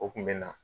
O kun bɛ na